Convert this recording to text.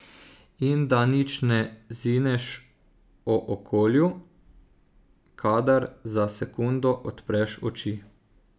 In da nič ne zineš o okolju, kadar za sekundo odpreš oči.